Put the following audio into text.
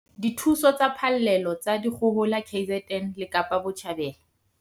Dithuso tsa phallelo tsa dikgohola KZN le Kapa Botjhabela